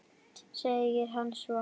segir hann svo.